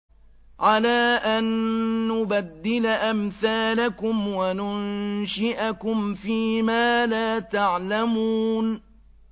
عَلَىٰ أَن نُّبَدِّلَ أَمْثَالَكُمْ وَنُنشِئَكُمْ فِي مَا لَا تَعْلَمُونَ